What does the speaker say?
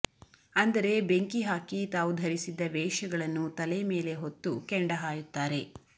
ಅಂದರೆ ಬೆಂಕಿ ಹಾಕಿ ತಾವು ಧರಿಸಿದ್ದ ವೇಷಗಳನ್ನು ತಲೆ ಮೇಲೆ ಹೊತ್ತು ಕೆಂಡ ಹಾಯುತ್ತಾರೆ